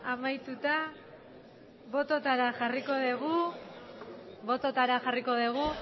amaituta bototara jarriko dugu